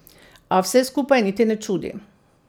A vse skupaj niti ne čudi.